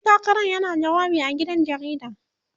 ɗan takaran yana jawabi a gidan rediyo